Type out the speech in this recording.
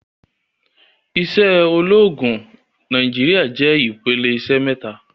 Iṣẹ́ ológun Nàìjíríà jẹ́ ìpele iṣẹ́ mẹ́ta.